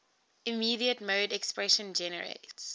immediate mode expression generates